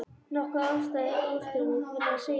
Nokkuð afstæð ástarjátning, verður að segjast.